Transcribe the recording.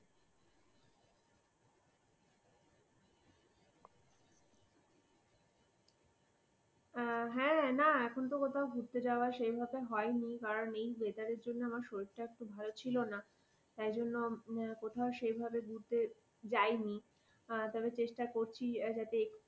হা না এখন তো কোথাও ঘুরতে যাওয়া সেই ভাবে হয়নি কারণ এই weather র জন্য আমার শরীরটা খুব ভালো ছিল না তাই জন্য কোথাও সেই ভাবে ঘুরতে যায়নি তবে চেষ্টা করছি যাতে